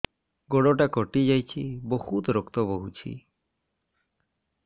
ଗୋଡ଼ଟା କଟି ଯାଇଛି ବହୁତ ରକ୍ତ ବହୁଛି